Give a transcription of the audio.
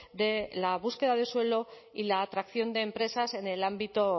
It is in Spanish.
de la búsqueda de suelo y la atracción de empresas en el ámbito